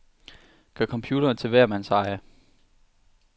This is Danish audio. Gør computeren til hver mands eje.